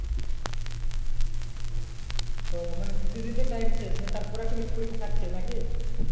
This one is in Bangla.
ও মানে দিতে দিতে time শেষ তার পরে একটা পরীক্ষা থাকছে না কি